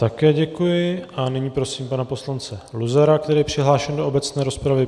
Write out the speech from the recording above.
Také děkuji a nyní prosím pana poslance Luzara, který je přihlášen do obecné rozpravy.